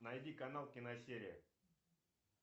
найди канал киносерия